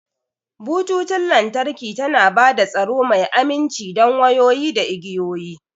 Bututun lantarki tana ba da tsaro mai aminci don wayoyi da igiyoyi.